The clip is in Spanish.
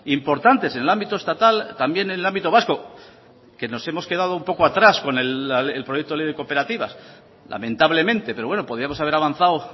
importantes en el ámbito estatal también en el ámbito vasco que nos hemos quedado un poco atrás con el proyecto de ley de cooperativas lamentablemente pero bueno podíamos haber avanzado